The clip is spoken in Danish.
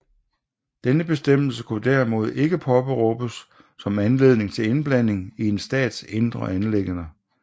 Denne bestemmelse kunne derimod ikke påberåbes som anledning til indblanding i en stats indre anliggender